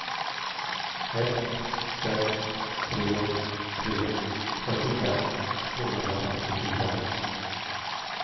ett sex tre tre fyrtiofem tvåhundrafemtiofyra